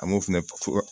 An b'o fɛnɛ